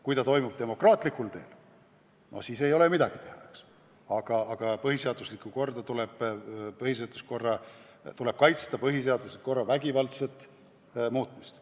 Kui see toimub demokraatlikul teel, siis ei ole ju midagi, aga tuleb ära hoida põhiseadusliku korra vägivaldset muutmist.